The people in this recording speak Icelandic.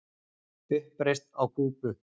Uppreisn á Kúbu!